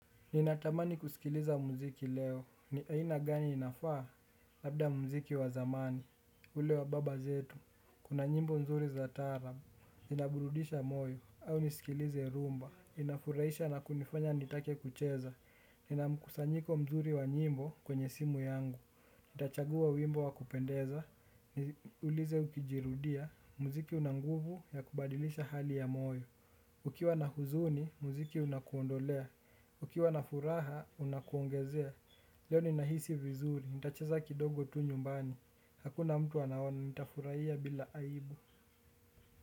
Ninatamani kusikiliza muziki leo. Ni aina gani inafaa? Labda muziki wa zamani. Ule wa baba zetu. Kuna nyimbo nzuri za taarabu. Ninaburudisha moyo. Au nisikilize rumba. Inafuraisha na kunifanya nitake kucheza. Nina mkusanyiko mzuri wa nyimbo kwenye simu yangu. Nitachagua wimbo wa kupendeza. Ulize ukijirudia. Muziki una nguvu ya kubadilisha hali ya moyo. Ukiwa na huzuni, muziki unakuondolea. Ukiwa na furaha, unakuongezea. Leo ninahisi vizuri. Nitacheza kidogo tu nyumbani. Hakuna mtu anaona nitafuraia bila aibu.